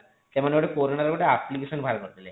ସେମାନେ ଗୋଟେ କୋରୋନା ର ଗୋଟେ application ବାହାର କରିଦେଲେ